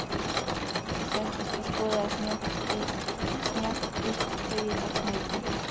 Ég settist og skoðaði snjakahvítt tauið á snúrunni.